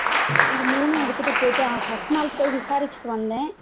இது மூணும் எடுத்துட்டு போயிட்டு அஹ் first நாள் போய் விசாரிச்சுட்டு வந்த